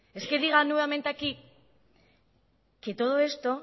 es que diga nuevamente aquí que todo esto